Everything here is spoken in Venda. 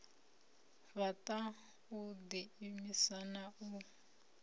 fhaṱa u ḓiimisa na u